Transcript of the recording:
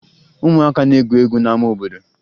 Ụmụaka na-egwu egwu n'ama obodo